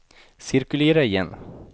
cirkulera igen